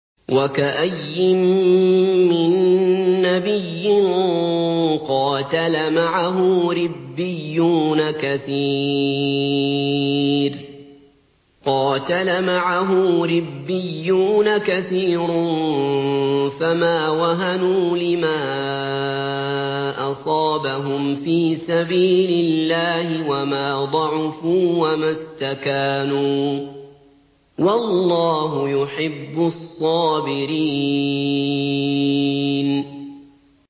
وَكَأَيِّن مِّن نَّبِيٍّ قَاتَلَ مَعَهُ رِبِّيُّونَ كَثِيرٌ فَمَا وَهَنُوا لِمَا أَصَابَهُمْ فِي سَبِيلِ اللَّهِ وَمَا ضَعُفُوا وَمَا اسْتَكَانُوا ۗ وَاللَّهُ يُحِبُّ الصَّابِرِينَ